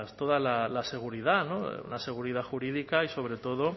toda la seguridad la seguridad jurídica y sobre todo